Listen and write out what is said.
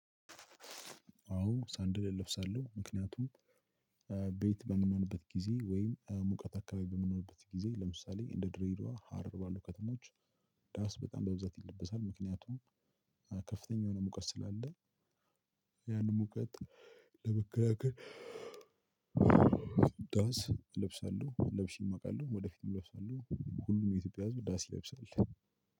አዎ ሳንደል እለብሳለሁ ምክንያቱም ቤት በምንሆንበት ጊዜ ወይም ሙቀት አካባቢ በምንሆንበት ጊዜ ለምሳሌ እንደ ድሬዳዋ ሀረር ባሉ ከተሞች ዳስ በጣም በብዛት ይለበሳል። ምክንያቱም ከፍተኛ የሆነ ሙቀት ስላለ ያንን ሙቀት ለመከላከል። ዳስ እለብሳለሁ ለብሼም አውቃለሁ ወደፊትም እለብሳለሁ። ሁሉም የኢትዮጵያ ህዝብ ዳስ ይለብሳል።